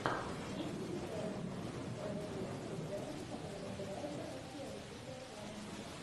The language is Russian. есть ли у тебя кинчик с брэдли купером который называется как приручить дракона